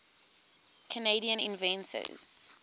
canadian inventors